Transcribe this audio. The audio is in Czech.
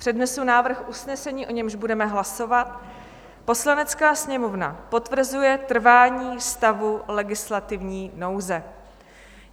Přednesu návrh usnesení, o němž budeme hlasovat: "Poslanecká sněmovna potvrzuje trvání stavu legislativní nouze."